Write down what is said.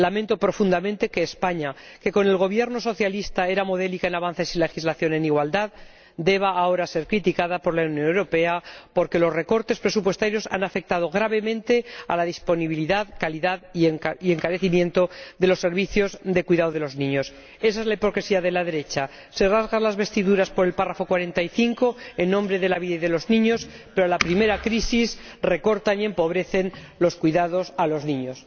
Lamento profundamente que España, que con el Gobierno socialista era modélica en avances y en legislación en igualdad, deba ahora ser criticada por la Unión Europea porque los recortes presupuestarios han afectado gravemente a la disponibilidad y calidad de los servicios de cuidado de los niños y los han encarecido. Esa es la hipocresía de la derecha se rasga las vestiduras por el apartado 45 en nombre de la vida y de los niños, pero a la primera crisis recortan y empobrecen los cuidados a los niños.